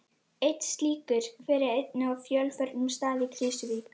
Einn slíkur hver er einnig á fjölförnum stað í Krýsuvík.